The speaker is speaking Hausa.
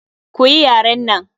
Koyi yaren nan!